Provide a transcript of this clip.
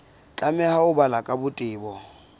tlameha ho balwa ka botebo